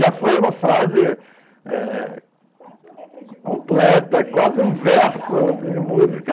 Já foi uma frase completa, é... quase uma letra de musica, completa, quase um verso de música.